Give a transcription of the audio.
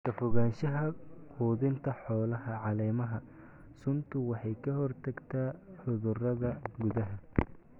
Ka fogaanshaha quudinta xoolaha caleemaha suntu waxay ka hortagtaa cudurada gudaha.